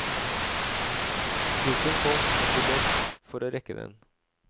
Trikken kom, og vi løp for å rekke den.